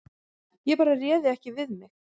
Ég bara réð ekki við mig